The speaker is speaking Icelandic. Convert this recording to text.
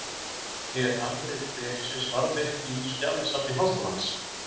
Er afrit bréfsins varðveitt í skjalasafni Háskólans.